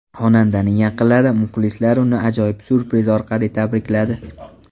Xonandaning yaqinlari, muxlislari uni ajoyib syurpriz orqali tabrikladi.